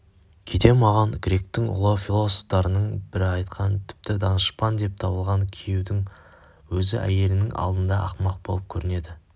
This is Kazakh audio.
кейде маған гректің ұлы философтарының бірі айтқан тіпті данышпан деп табылған күйеудің өзі әйелінің алдында ақымақ болып көрінеді